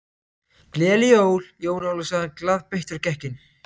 Gleðileg jól, Jón Ólafur sagði hann glaðbeittur og gekk inn.